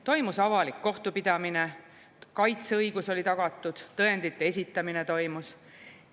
Toimus avalik kohtupidamine, kaitseõigus oli tagatud, tõendite esitamine toimus.